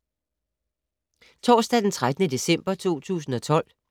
Torsdag d. 13. december 2012